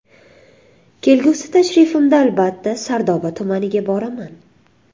Kelgusi tashrifimda albatta Sardoba tumaniga boraman.